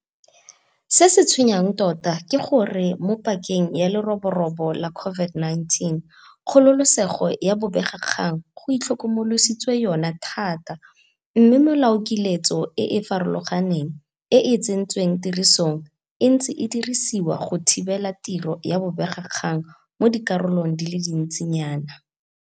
Se se tshwenyang tota ke gore mo pakeng ya leroborobo la COVID-19 kgololesego ya bobegakgang go itlhokomolositswe yona thata, mme melaokiletso e e farologaneng e e tsentsweng tirisong e ntse e dirisiwa go thibela tiro ya bobegakgang mo dikgaolong di le dintsi nyana.